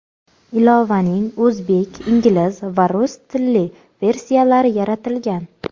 Ilovaning o‘zbek, ingliz va rus tilli versiyalari yaratilgan.